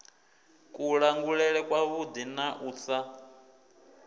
kulangulele kwavhuḓi na u sa